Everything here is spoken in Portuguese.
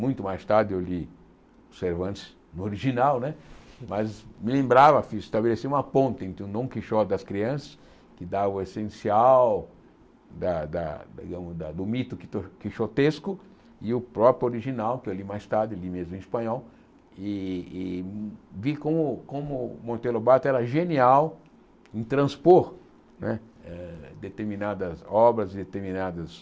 Muito mais tarde eu li o Cervantes, no original né, mas me lembrava, fiz estabeleci uma ponte entre o Dom Quixote das Crianças, que dá o essencial da da digamos da do mito quito quixotesco, e o próprio original, que eu li mais tarde, li mesmo em espanhol, e e vi como como Monteiro lobato era genial em transpor né eh determinadas obras, determinadas